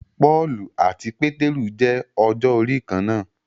Pọ́ọ̀lù àti Pétérù jẹ ọjọ́ orí kán náà.